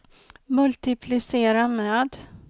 multiplicera med